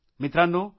मित्रांनो